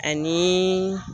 Ani